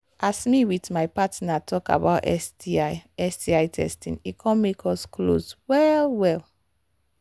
as me with my partner talk about sti sti testing e come make us close well well